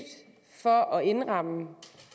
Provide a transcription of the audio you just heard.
for at indramme